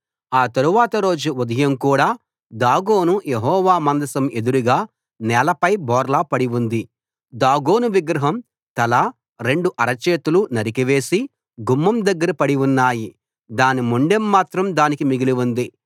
ఆ తరువాతి రోజు ఉదయం కూడా దాగోను యెహోవా మందసం ఎదురుగా నేలపై బోర్లా పడి ఉంది దాగోను విగ్రహం తల రెండు అరచేతులు నరికివేసి గుమ్మం దగ్గర పడి ఉన్నాయి దాని మొండెం మాత్రం దానికి మిగిలి ఉంది